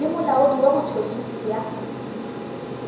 le molaodi wa botšhotšhisi bja